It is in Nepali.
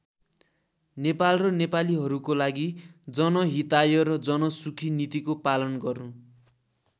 नेपाल र नेपालीहरूको लागि जनहिताय र जनसुखी नीतिको पालन गर्नु।